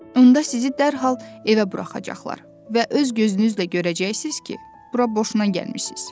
Onda sizi dərhal evə buraxacaqlar və öz gözünüzlə görəcəksiniz ki, bura boşuna gəlmisiniz.